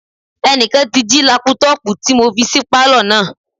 Ẹnìkan ti jí lápútọ̀pù tí mo fi sí pálọ̀ náà